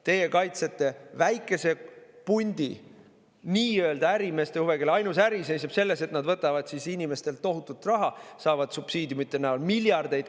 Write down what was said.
Teie kaitsete väikese pundi nii-öelda ärimeeste huve, kelle ainus äri seisneb selles, et nad võtavad inimestelt tohutut raha, saavad subsiidiumide näol miljardeid.